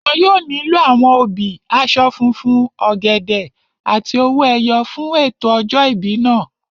Wọn yóò nílò àwọn obì, aṣọ funfun, ọ̀gẹ̀dẹ̀ àti owó ẹyọ fún ètò ọjọ́ ìbí náà